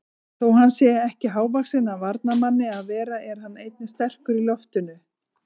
Þó hann sé ekki hávaxinn af varnarmanni að vera er hann einnig sterkur í loftinu.